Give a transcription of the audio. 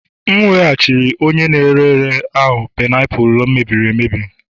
M weghachiri ya onye na-ere ere ahụ painiapulu e mebiri emebi